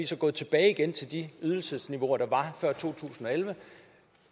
så gået tilbage til de ydelsesniveauer der var før to tusind og elleve